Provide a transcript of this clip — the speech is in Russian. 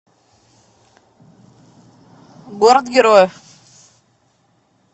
город героев